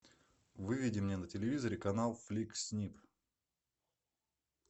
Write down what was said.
выведи мне на телевизоре канал фликс снип